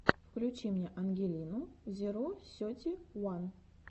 включи мне ангелину зеро сети уан